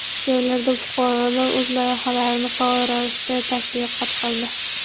Joylarda fuqarolar o‘z loyihalarini faol ravishda tashviqot qildi.